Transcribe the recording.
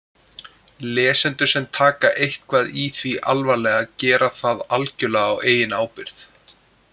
Lesendur sem taka eitthvað í því alvarlega gera það algjörlega á eigin ábyrgð.